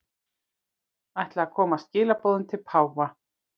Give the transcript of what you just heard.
Ætla að koma skilaboðum til páfa